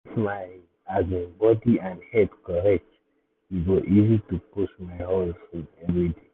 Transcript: if my um body and head correct e go easy to push my hustle every day.